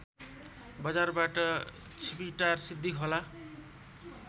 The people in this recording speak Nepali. बजारबाट छिपिटार सिद्धिखोला